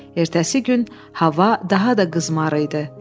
Ertəsi gün hava daha da qızmar idi.